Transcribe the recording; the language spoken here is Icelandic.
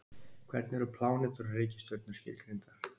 hvernig eru plánetur og reikistjörnur skilgreindar